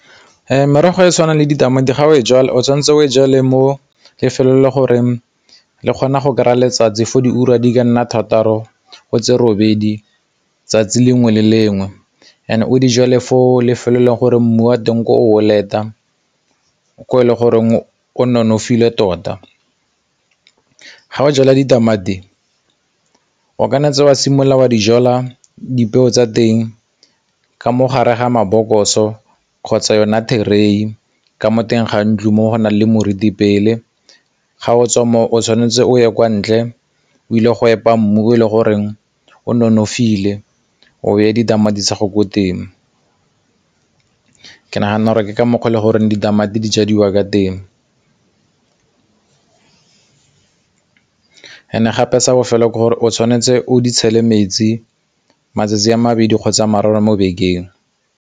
Merogo e e tshwanang le ditamati ga o e jala o tshwanetse o jale mo lefelong le le gore le kgona go kry-a letsatsi for diura di ka nna thataro go tse robedi 'tsatsi lengwe le lengwe, and o di jale fo lefelo le eleng gore mmu wa teng o leta ko e le goreng o nonofile tota. Ga o jala ditamati o kanetse wa simolola wa dijala dipeo tsa teng ka mo gare ga mabokoso kgotsa yona tray, ka mo teng ga ntlo, mo go nale moruti pele, ga o tswa moo, o tshwanetse o ye kwa ntle o ile go epa mmu e le goreng o nonofile o ditamati tsa go ko teng. Ke nagana gore ke ka mokgwa e le goreng ditamati di jadiwa ka teng. ene gape sa bofelo ke gore o tshwanetse o di tshele metsi matsatsi a mabedi kgotsa mara mo bekeng.